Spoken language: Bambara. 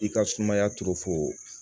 I ka sumaya to fo